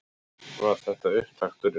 Var þetta upptakturinn?